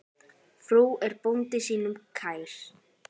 Frú er bónda sínum kær.